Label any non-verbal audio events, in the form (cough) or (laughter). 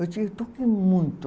Eu (unintelligible) toquei muito.